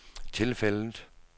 tilfældet